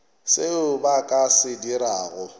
seo ba ka se dirago